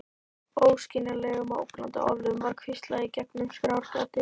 Óskiljanlegum og ógnandi orðum var hvíslað í gegnum skráargati.